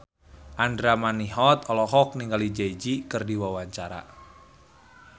Andra Manihot olohok ningali Jay Z keur diwawancara